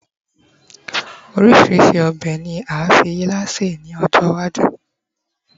orísirísi obe ni a fi ila se ni ọjọ iwaju